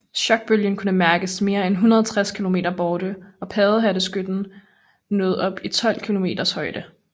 Chokbølgen kunne mærkes mere end 160 km borte og paddehatteskyen nåede op i 12 km højde